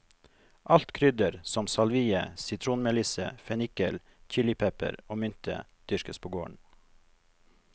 Alt krydder, som salvie, sitronmelisse, fenikkel, chilipepper og mynte, dyrkes på gården.